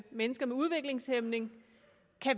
mennesker med udviklingshæmning